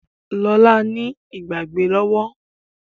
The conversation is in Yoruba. Lola ní Ìgbàgbé lówó lówó.